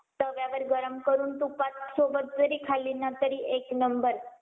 तव्यावर गरम करून तुपात सोबत जरी खाली ना तरी एक नंबर.